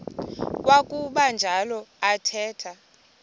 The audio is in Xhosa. kwakuba njalo athetha